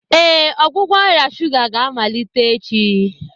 Ee, ọgwụgwọ ọrịa shuga ga-amalite echi.